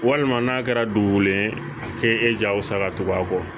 Walima n'a kɛra dugulen a k'e ja wusa ka tugu a kɔ